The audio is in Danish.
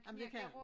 Ej men det kan han